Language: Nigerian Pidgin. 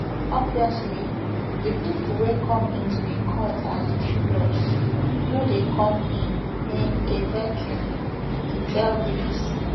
obviously di pipo wey come into di court as jurors no dey come in in a vacuum e tell bbc